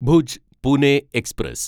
Bhuj Pune express